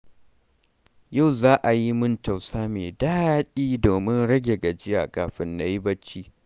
Yau za a yi mun tausa mai daɗi domin rage gajiya kafin na yi barci.